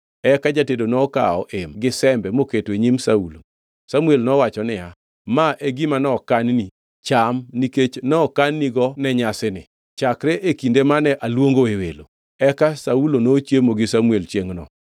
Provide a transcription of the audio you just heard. Eka jatedo nokawo em gi sembe moketo e nyim Saulo. Samuel nowacho niya, “Ma e gima nokan-ni, cham, nikech nokan-nigo ne nyasini, chakre e kinde mane aluongoe welo.” Eka Saulo nochiemo gi Samuel chiengʼno.